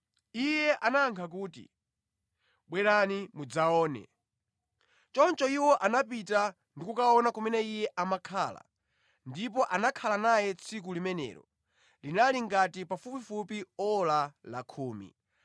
Iye anayankha kuti, “Bwerani mudzaone.” Choncho iwo anapita ndi kukaona kumene Iye amakhala, ndipo anakhala naye tsiku limenelo. Linali ngati pafupifupi ora la khumi.